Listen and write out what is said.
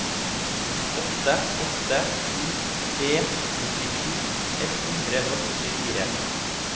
åtte åtte sju tre nittisju ett hundre og førtifire